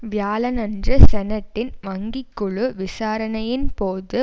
வியாழனன்று செனட்டின் வங்கி குழு விசாரணையின் போது